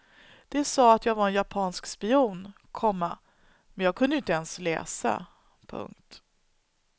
De sa att jag var en japansk spion, komma men jag kunde ju inte ens läsa. punkt